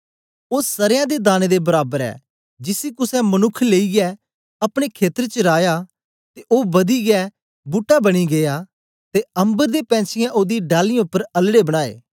ओ सरयां दे दाने दे बराबर ऐ जिसी कुसे मनुक्ख लेईयै अपने खेत्र च राया ते ओ वदियै बूट्टा बनी गीया ते अम्बर दे पैंछीयें ओदी डालीयें उपर अलड़े बनाए